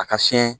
A ka fiɲɛ